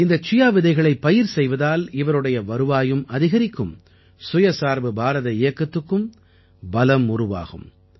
இந்தச் சியா விதைகளைப் பயிர் செய்வதால் இவருடைய வருவாயும் அதிகரிக்கும் சுயசார்பு பாரத இயக்கத்துக்கும் பலம் உருவாகும்